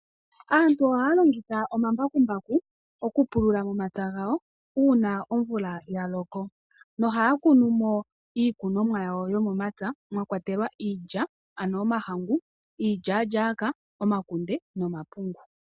Aantu ohaya longitha omambakumbaku okupulula momapya gawo uuna omvula ya loko. Nohaya kunu mo iikunomwa yawo yomomapya mwa kwatelwa iilya ano omahangu, iilyaalyaaka, omakunde nomapungu.